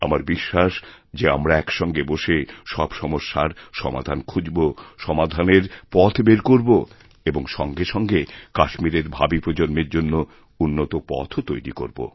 আমারবিশ্বাস যে আমরা একসঙ্গে বসে সব সমস্যার সমাধান খুঁজব সমাধানের পথ বের করব এবংসঙ্গেসঙ্গে কাশ্মীরের ভাবী প্রজন্মের জন্য উন্নত পথও তৈরি করব